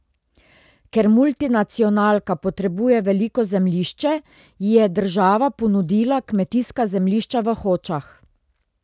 Ker multinacionalka potrebuje veliko zemljišče, ji je država ponudila kmetijska zemljišča v Hočah.